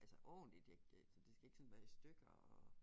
Altså ordentligt jeg jeg det skal ikke sådan være i stykker og